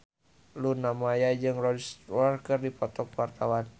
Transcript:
Luna Maya jeung Rod Stewart keur dipoto ku wartawan